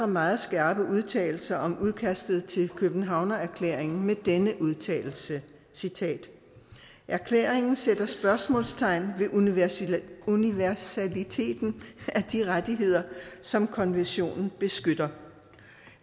meget skarpe udtalelser om udkastet til københavnererklæringen med denne udtalelse citat erklæringen sætter spørgsmålstegn ved universaliteten universaliteten af de rettigheder som konventionen beskytter